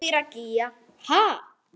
Elvíra Gýgja: Ha?